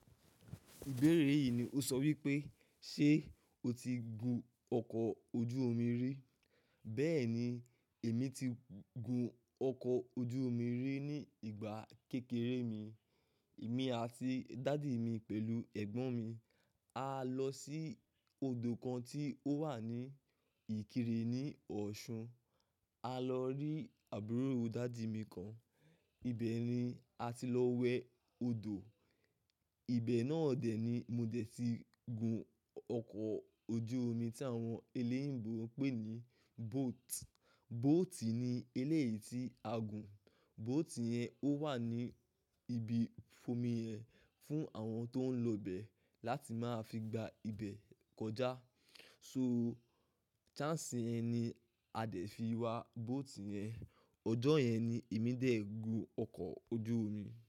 Ìbéèrè yìí ni o sọ wípé, "Ṣé o ti gun ọkọ̀ ojú omi rí?" Bẹ́ẹ̀ni, èmi ti gun ọkọ̀ ojú omi rí ní ìgbà kékeré mi. Èmi àti dàdi mi pẹ̀lú ẹ̀gbọ́n mi á lọ sí odò kan tí ó wà ní Ìkirè ní Ọ̀ṣun. A lọ rí àbúrò dàdi mi kan. Ibẹ̀ ni a ti lọ wẹ odò. Ibẹ̀ náà dẹ̀ ni mo dẹ̀ ti gun ọkọ̀ ojú omi tí àwọn eléyinbò n pè ní boat. Bóòtì ni eléyìí tí a gùn. Bóòtì yẹn ó wà ní ibi fomi ẹ fún àwọn tó ń lọ bẹ̀ láti máa fi gba ibẹ̀ kọjá. So, ṣáǹsì yẹn ni a dẹ̀ fi wa bóòtì yẹn. Ọjọ́ yẹn ni èmi dè gun ọkọ̀ ojú omi.